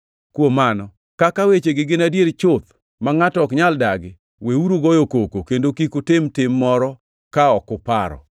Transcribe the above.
Kuom mano, kaka wechegi gin adier chuth ma ngʼato ok nyal dagi, weuru goyo koko kendo kik utim tim moro ka ok uparo.